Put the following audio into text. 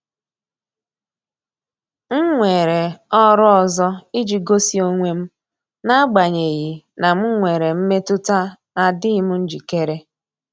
M weere ọrụ ọzọ iji gosi onwe m, n'agbanyeghị na m nwere mmetụta na adịghị m njikere.